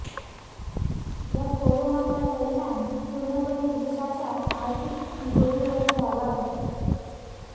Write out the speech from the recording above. या कोरोनाचा परिणाम पूर्णपणे देशाच्या आर्थिक तिजोरीवर झाला आहे